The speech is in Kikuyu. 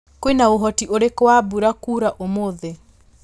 kwĩna ũhoti ũrĩkũ wa mbũra kũra ũmũthĩ